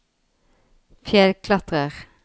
fjellklatrer